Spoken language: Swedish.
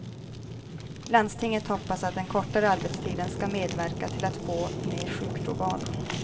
Landstinget hoppas att den kortare arbetstiden skall medverka till att få ned sjukfrånvaron.